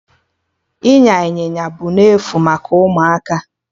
Ịnya Ịnyịnya bụ n'efu maka ụmụaka